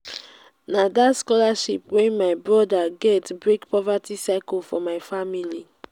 na dat scholarship wey my broda get break poverty cycle for my family.